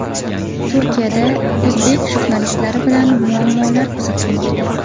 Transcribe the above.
Turkiyada o‘zbek jurnalistlari bilan muammolar kuzatilmoqda.